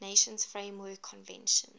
nations framework convention